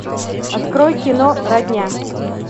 открой кино родня